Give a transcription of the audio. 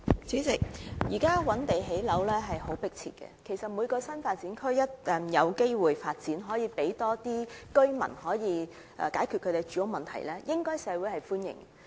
主席，現時覓地建屋是相當迫切的工作，而每個新發展區均有助解決更多居民的住屋需要，社會對此應表歡迎。